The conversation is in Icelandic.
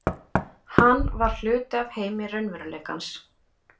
Hann var hluti af heimi raunveruleikans.